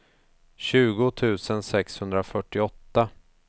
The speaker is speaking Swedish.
tjugo tusen sexhundrafyrtioåtta